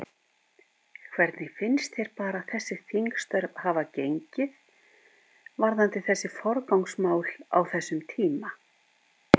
Hvernig finnst þér bara þessi þingstörf hafa gengið varðandi þessi forgangsmál á þessum tíma?